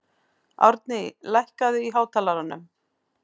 Amý, lækkaðu í hátalaranum.